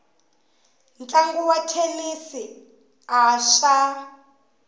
ntlangu wa thenisi a swa